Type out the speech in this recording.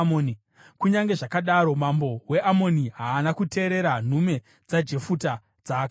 Kunyange zvakadaro, mambo weAmoni, haana kuteerera nhume dzaJefuta dzaakatuma.